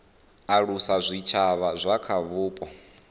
alusa zwitshavha zwa kha vhupo